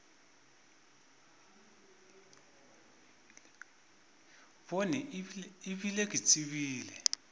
bone e bile ke tsebile